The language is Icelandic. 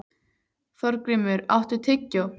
Þorgrímur, áttu tyggjó?